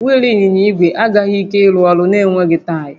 Wịịlụ ịnyịnya ígwè agaghị ike ịrụ ọrụ na-enweghị taya